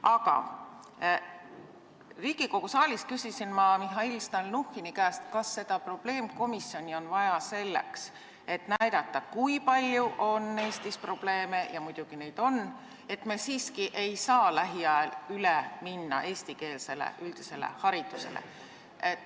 Aga Riigikogu saalis küsisin ma Mihhail Stalnuhhini käest, kas seda probleemkomisjoni on vaja selleks, et näidata, kui palju on Eestis probleeme – ja muidugi neid on –, nii et me siiski ei saa lähiajal üle minna eestikeelsele üldisele haridusele.